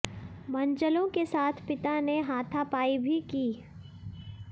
मनचलों के साथ पिता ने हाथापाई भी की